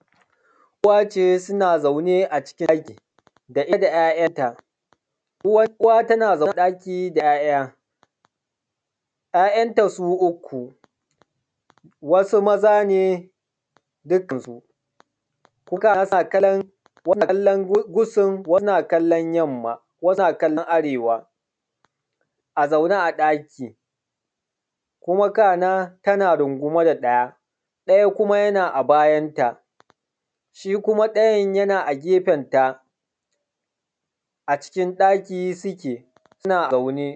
Uwa ce suna zaune a ɗaki da ita da 'ya'yanta, uwa tana zaune ɗaki da 'ya'ya. 'Ya'yanta su uku, wasu maza dukkansu wani na kallon Kudu wani na kallon Yamma wani na kallon Arewa a zaune a daki Kuma kana tana rungume da ɗaya. Daya kuma yana a bayanta, shi kuma ɗayan yana a gefenta a cikin ɗaki suke suna zaune.